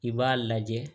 I b'a lajɛ